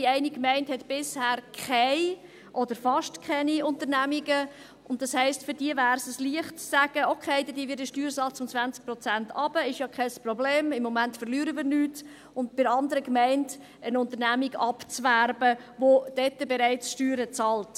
Die eine Gemeinde hat bisher keine oder fast keine Unternehmungen, und das heisst, für diese wäre es ein Leichtes zu sagen, «Okay, dann senken wir den Steuersatz um 20 Prozent, ist ja kein Problem, im Moment verlieren wir nichts.» und der anderen Gemeinde eine Unternehmung abzuwerben, die dort bereits Steuern bezahlt.